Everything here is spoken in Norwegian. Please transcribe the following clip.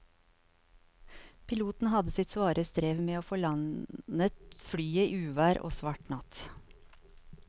Piloten hadde sitt svare strev med å få landet flyet i uvær og svart natt.